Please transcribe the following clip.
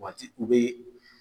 Waati u bɛ